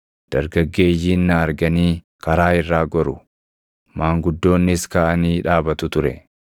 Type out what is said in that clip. dargaggeeyyiin na arganii karaa irraa goru; maanguddoonnis kaʼanii dhaabatu ture;